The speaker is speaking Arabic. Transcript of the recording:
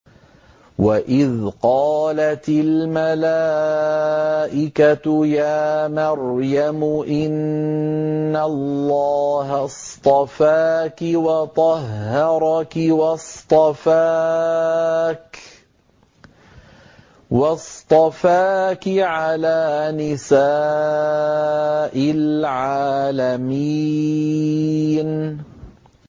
وَإِذْ قَالَتِ الْمَلَائِكَةُ يَا مَرْيَمُ إِنَّ اللَّهَ اصْطَفَاكِ وَطَهَّرَكِ وَاصْطَفَاكِ عَلَىٰ نِسَاءِ الْعَالَمِينَ